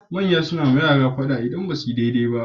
Manya nayi wa yara fada idan basuyi dai dai ba